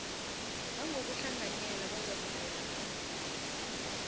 nangokuhlanganyela bazakuvela phambi